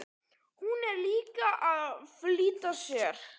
Hún er líka að flýta sér.